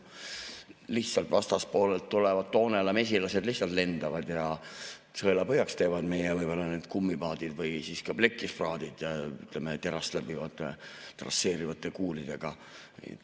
Lihtsalt vastaspoolelt tulevad Toonela mesilased, lihtsalt lendavad ja teevad sõelapõhjaks meie kummipaadid või ka plekist paadid terast läbivate trasseerivate kuulidega.